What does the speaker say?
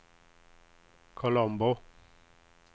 Colombo